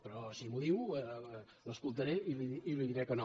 però si m’ho diu l’escoltaré i li diré que no